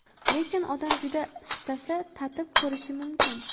Lekin odam juda istasa, tatib ko‘rishi mumkin.